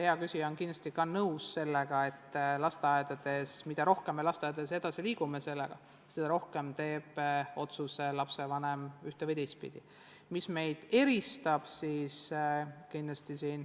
Hea küsija on kindlasti nõus, et mida rohkem me lasteaedades sellega edasi liigume, seda rohkem lapsevanemaid eesti kooli kasuks otsustab.